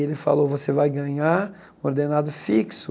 Ele falou você vai ganhar ordenado fixo.